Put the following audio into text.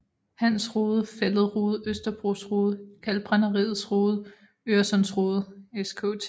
Hans Rode Fælled Rode Østerbros Rode Kalkbrænderiets Rode Øresunds Rode Skt